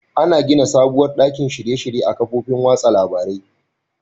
Ana gina sabuwar ɗakin shirye -shirye a kafofin watsa labarain.